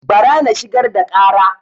Bara na shigar da ƙara